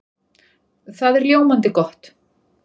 Það er ljómandi gott!